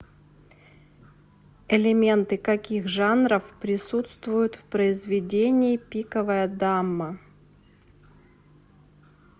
элементы каких жанров присутствуют в произведении пиковая дама